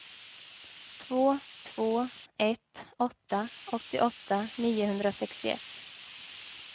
två två ett åtta åttioåtta niohundrasextioett